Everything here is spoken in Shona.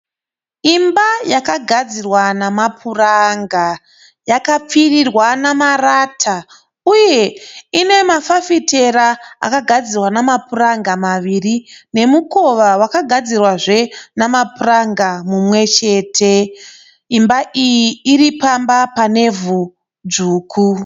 Imba yakagadzirwa namapuranga. Yakapfirirwa namarata uye inemafafitera akagadzirwa namapuranga maviri nemukova wakagadzirwazve namapuranga mumwechete. Imba iyi iripamba panevhu dzvuku.